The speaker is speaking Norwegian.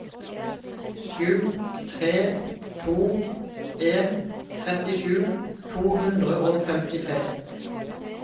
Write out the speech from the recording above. sju tre to en trettisju to hundre og femtitre